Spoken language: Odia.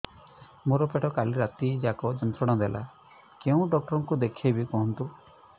ମୋର ପେଟ କାଲି ରାତି ଯାକ ଯନ୍ତ୍ରଣା ଦେଲା କେଉଁ ଡକ୍ଟର ଙ୍କୁ ଦେଖାଇବି କୁହନ୍ତ